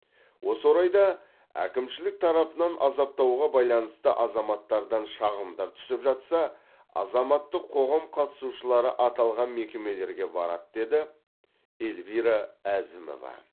осы орайда әкімшілік тарапынан азаптауға байланысты азаматтардан шағымдар түсіп жатса азаматтық қоғам қатысушылары аталған мекемелерге барады деді эльвира әзімова